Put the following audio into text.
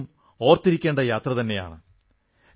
ഇത് എന്നും ഓർത്തിരിക്കേണ്ട യാത്ര തന്നെയാണ്